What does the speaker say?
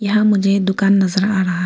यहां मुझे दुकान नजर आ रहा--